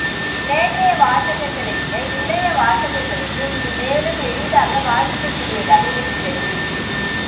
நேற்றைய வாசகர்களைவிட இன்றைய வாசகர்களுக்கு இது மேலும் எளிதாக வாசிக்கக்கூடியதாக இருக்கிறது